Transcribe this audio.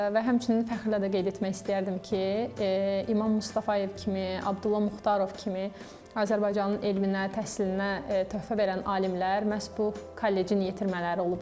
Və həmçinin fəxrlə də qeyd etmək istəyərdim ki, İmam Mustafayev kimi, Abdulla Muxtarov kimi Azərbaycanın elminə, təhsilinə töhfə verən alimlər məhz bu kollecin yetirmələri olublar.